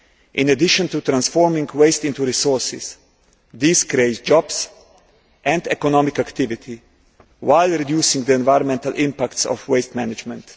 In addition to transforming waste into resources, this creates jobs and economic activity while reducing the environmental impact of waste management.